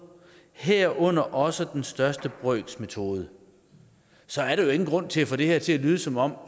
herunder også den største brøks metode så er der jo ingen grund til at få det her til at lyde som om